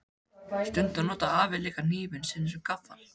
Stundum notar afi líka hnífinn sinn sem gaffal.